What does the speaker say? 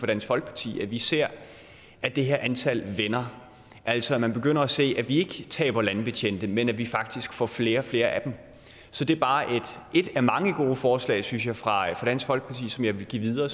dansk folkeparti at vi ser at det her antal vender altså at man begynder at se at vi ikke taber landbetjente men at vi faktisk får flere og flere af dem så det er bare et af mange gode forslag synes jeg fra dansk folkeparti som jeg vil give videre